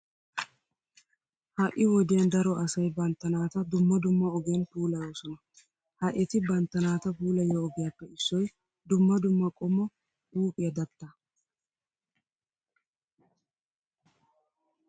Ha"i wodiyan daro asay bantta naata dumma dumma ogiyan puulayoosona. Ha eti bantta naata puulayiyo ogiyappe issoy dumma dumma qommo huuphiya dattaa.